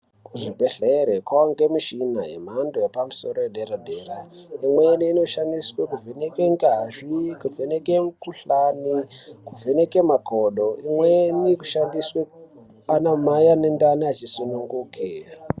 Kuzvibhedhlerale kwawanda mishina yemhando yepamusoro yedera dera imweni inoshandiswe, kuvheneke ngazi, kuvheneke mikuhlani, kuvheneke makodo, imweni kushandiswe anamai vane ndani vachisununguke.